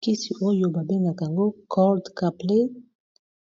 kisi oyo babendaka yango cold capley